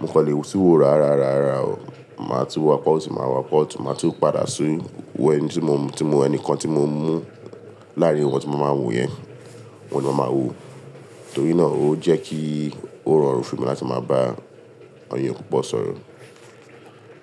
Mo kọ́lé tu wo ra ara, ara, ara o. Màá tú wò apá òsì máa wò apá ọ̀tún máa tún padà sí wọ ẹni tí mo, tí mo, ẹnìkan tí mo mú láàrin wọn tí mo máa ń wò yẹn, wọn ni màá ma wò. Torí náà, ó jẹ́ kí ó rọrùn fún mi láti máa bá àwọn èyàn púpọ̀ sọ̀rọ̀.